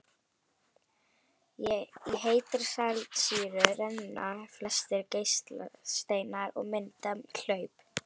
Í heitri saltsýru renna flestir geislasteinar og mynda hlaup.